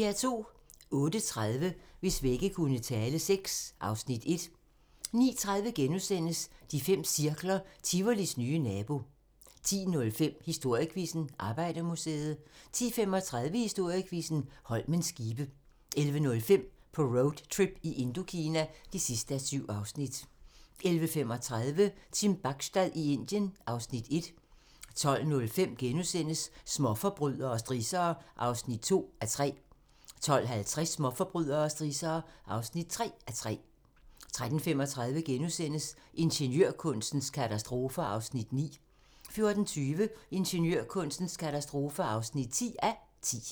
08:30: Hvis vægge kunne tale VI (Afs. 1) 09:30: De fem cirkler - Tivolis nye nabo * 10:05: Historiequizzen: Arbejdermuseet 10:35: Historiequizzen: Holmens skibe 11:05: På roadtrip i Indokina (7:7) 11:35: Team Bachstad i Indien (Afs. 1) 12:05: Småforbrydere og strissere (2:3)* 12:50: Småforbrydere og strissere (3:3) 13:35: Ingeniørkunstens katastrofer (9:10)* 14:20: Ingeniørkunstens katastrofer (10:10)